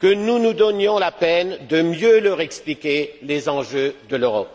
que nous nous donnions la peine de mieux leur expliquer les enjeux de l'Europe.